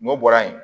N'o bɔra yen